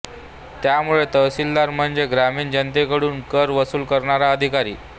त्यामुळे तहसीलदार म्हणजे ग्रामीण जनतेकडून कर वसूल करणारा अधिकारी